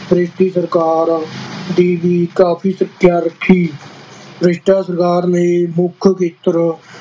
British ਸਰਕਾਰ ਦੀ ਵੀ ਕਾਫ਼ੀ ਰੱਖੀ, ਬ੍ਰਿਟਿਸ਼ ਸਰਕਾਰ ਨੇ ਮੁੱਖ ਖੇਤਰ